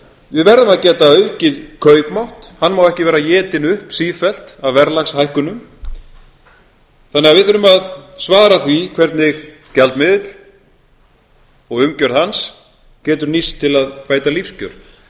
við verðum að geta aukið kaupmátt hann má ekki vera étinn upp sífellt af verðlagshækkunum þannig að við þurfum að svara því hvernig gjaldmiðill og umgjörð hans getur nýst til að bæta lífskjör almennt erum við að tala um